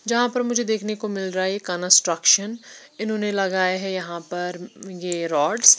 जहां पर मुझे देखने को मिल रहा है कन्स्ट्रक्शन इन्होंने लगाया है ये यहाँ पर ये रॉडस् --